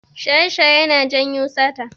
Shaye-shaye yana janyo sata.